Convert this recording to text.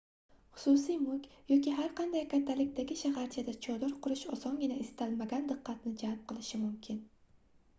xususiy mulk yoki har qanday kattalikdagi shaharchada chodir qurish osongina istalmagan diqqatni jalb qilishi mumkin